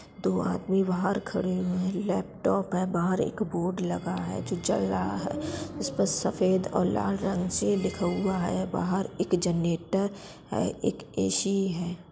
दो आदमी बाहर खड़े हुएँ है | लैपटॉप है | बाहर एक बोर्ड लगा हैजो जल रहा है इसपे सफेद और लाल रंग से लिखा हुआ है | बाहर एक जेनरेटर है | एक ए. सी. है।